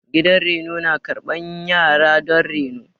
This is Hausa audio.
Gidan reno na karɓan yara don reno.